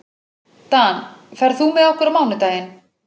Dan, ferð þú með okkur á mánudaginn?